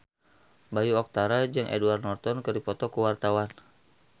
Bayu Octara jeung Edward Norton keur dipoto ku wartawan